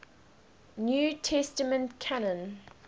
new testament canon